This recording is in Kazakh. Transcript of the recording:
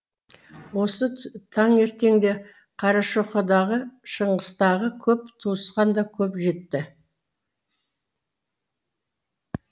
осы таңертеңде қарашоқыдағы шыңғыстағы көп туысқан да көп жетті